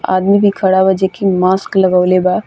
आदमी भी खड़ा बा जो की मास्क लगोवले बा।